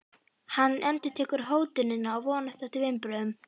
Hann endurtekur hótunina og vonast eftir viðbrögðum.